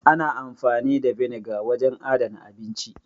Ana amfani da vinegar wajen adana abinci.